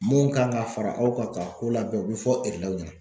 Mun kan ka fara aw kan ka ko labɛn o bɛ fɔ ɲɛna